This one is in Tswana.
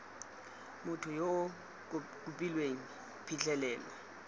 motho yo o kopileng phitlhelelo